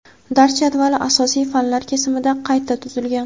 dars jadvali asosiy fanlar kesimida qayta tuzilgan.